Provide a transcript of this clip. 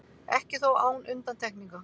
Ekki þó án undantekninga.